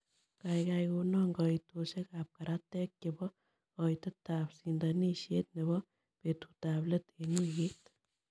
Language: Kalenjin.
Gaigai konan kaiitosiekap karatek che po koitetap sindanisiet ne po betutap let eng' wikiit